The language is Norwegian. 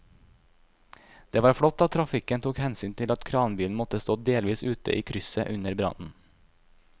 Det var flott at trafikken tok hensyn til at kranbilen måtte stå delvis ute i krysset under brannen.